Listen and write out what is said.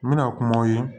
N bɛna kumaw ye